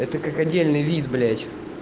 это как отдельный вид блять